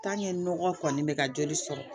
nɔgɔ kɔni bɛ ka joli sɔrɔ